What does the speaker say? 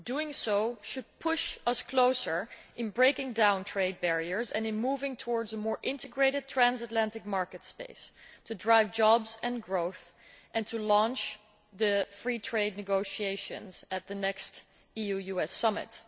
Doing so should push us closer to breaking down trade barriers and moving towards a more integrated trans Atlantic market space to drive jobs and growth and to launch the free trade negotiations at the next EU US Summit.